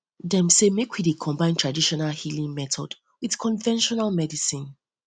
dem sey make we dey combine tradional healing method wit conventional medicine